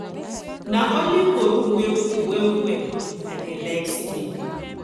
na only for room wey cool wellwell i dey like sleep